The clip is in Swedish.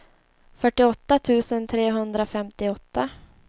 fyrtioåtta tusen trehundrafemtioåtta